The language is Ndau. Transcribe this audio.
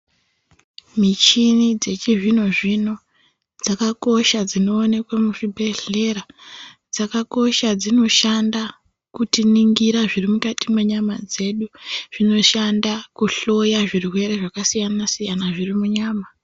Michini dzechizvino-zvino dzakakosha dzinoonekwe muchibhedhlera. Dzakakosha, dzinoshanda kutiningira zviri mukati menyama dzedu. Dzinoshanda kuhloya zvirwere zvakasiyana-siyana zviri munyama.